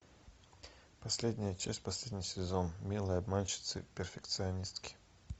последняя часть последний сезон милые обманщицы перфекционистки